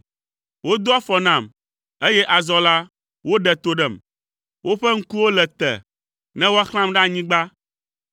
Wodo afɔ nam, eye azɔ la, woɖe to ɖem, woƒe ŋkuwo le te ne woaxlãm ɖe anyigba.